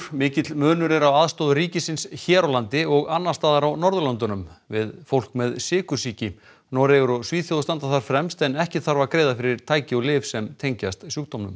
mikill munur er á aðstoð ríkisins hér á landi og annars staðar á Norðurlöndunum við fólk með sykursýki Noregur og Svíþjóð standa þar fremst en ekkert þarf að greiða fyrir tæki og lyf sem tengjast sjúkdómnum